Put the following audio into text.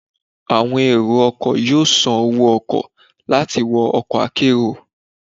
Awọn ero ọkọ yọọ sán owo-ọkọ lati wọ ọkọ akérò